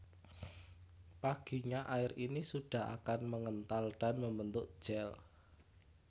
Paginya air ini sudah akan mengental dan membentuk gel